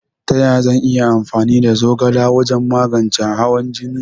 Taya zan yi amfani da zogala wajan magance hawan jine?